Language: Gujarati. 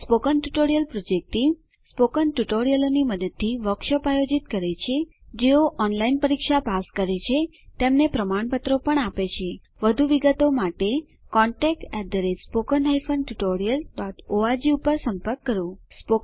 spoken tutorial project team spoken ટ્યુટોરીયલો નાં મદદથી વર્કશોપોનું આયોજન કરે છે જેઓ ઓનલાઈન પરીક્ષા પાસ કરે છે તેમને પ્રમાણપત્રો આપે છે વધુ વિગત માટે કૃપા કરી contactspoken tutorialorg પર સંપર્ક કરો